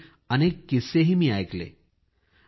यावेळी अनेक किस्सेही मी ऐकले